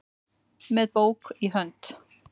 með bók í hönd